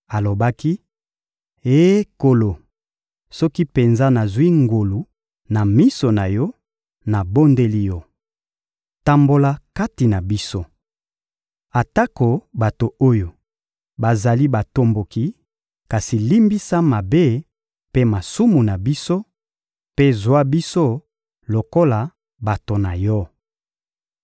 alobaki: — Eh Nkolo, soki penza nazwi ngolu na miso na Yo, nabondeli Yo: tambola kati na biso. Atako bato oyo bazali batomboki, kasi limbisa mabe mpe masumu na biso, mpe zwa biso lokola bato na Yo!